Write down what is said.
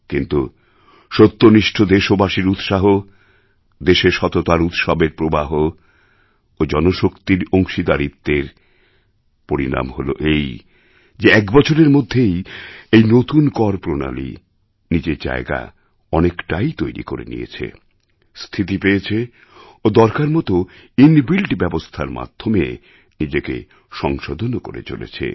কিন্তু সত্যনিষ্ঠ দেশবাসীর উৎসাহ দেশের সততার উৎসবের প্রবাহ ও জনশক্তির অংশীদারিত্বের পরিণাম হল এই যে এক বছরের মধ্যেই এই নতুন কর প্রণালী নিজের জায়গা তৈরি করে নিয়েছে স্থিতি পেয়েছে ও দরকার মতো ইনবিল্ট ব্যবস্থার মাধ্যমে নিজেকে সংশোধনও করে চলেছে